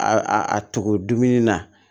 A a a tugu dumuni na